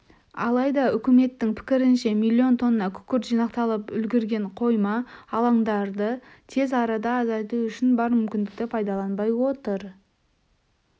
алайда үкіметтің пікірінше миллион тонна күкірт жинақталып үлгерген қойма-алаңдарды тез арада азайту үшін бар мүмкіндікті пайдаланбай отыр